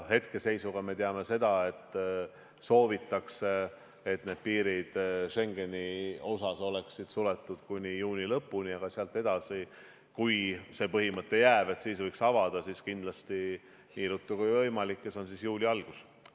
Hetkeseisuga me teame seda, et soovitakse, et piirid Schengeni puhul oleksid suletud kuni juuni lõpuni, aga sealt edasi, kui see põhimõte jääb, et siis võiks avada, siis kindlasti nii ruttu kui võimalik, see on juuli algus.